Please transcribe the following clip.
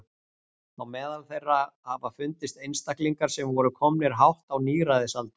á meðal þeirra hafa fundist einstaklingar sem voru komnir hátt á níræðisaldur